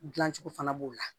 Dilancogo fana b'o la